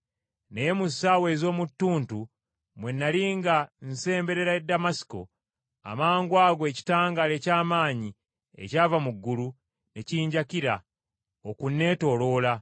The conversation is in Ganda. “Naye mu ssaawa ez’omu ttuntu bwe nnali nga nsemberera Damasiko, amangwago ekitangaala eky’amaanyi ekyava mu ggulu ne kinjakira okunneetooloola.